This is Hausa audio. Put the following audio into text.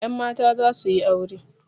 Yan mata za su yi aure.